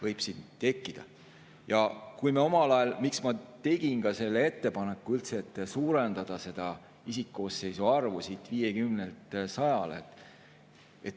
Miks ma omal ajal üldse tegin ettepaneku suurendada isikkoosseisu arvu 50‑lt 100‑le?